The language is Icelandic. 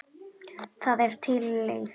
Það er til leið.